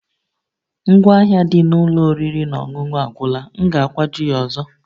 Ngwa ahịa dị n'ụlọ oriri na ọṅụṅụ agwụla, m ga-akwaju ya ọzọ